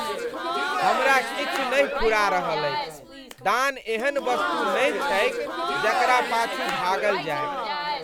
हमरा किछु नहि फुरा रहल अछि! दान एहन वस्तु नहि छैक जकरा पाछू भागल जाय।